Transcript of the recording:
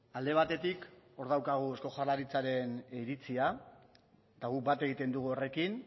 alde batetik hor daukagu eusko jaurlaritzaren iritzia eta guk bat egiten dugu horrekin